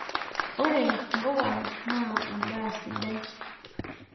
Ore mpuka naa endaa sidai.